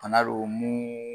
A na bi bɔ mun